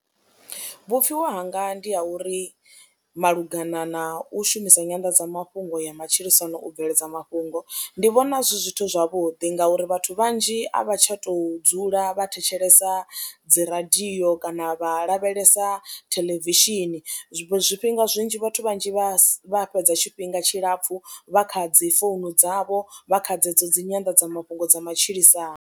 Vhupfhiwa hanga ndi ha uri malugana na u shumisa nyanḓadzamafhungo ya matshilisano u bveledza mafhungo, ndi vhona zwi zwithu zwavhuḓi ngauri vhathu vhanzhi a vha tsha tou dzula vha thetshelesa dzi radio kana vha lavhelesa theḽevishini, zwifhinga zwinzhi vhathu vhanzhi vha fhedza tshifhinga tshilapfhu vha kha dzi founu dzavho vha kha dzedzo dzi nyanḓadzamafhungo dza matshilisano.